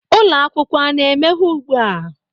Ụlọ akwụkwọ a na-emeghe ugbu a?